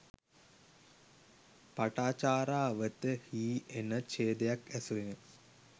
පටාචාරාවත හි එන ඡේදයක්ඇසුරින්